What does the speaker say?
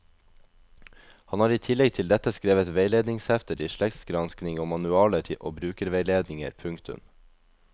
Han har i tillegg til dette skrevet veiledningshefter i slektsgransking og manualer og brukerveiledninger. punktum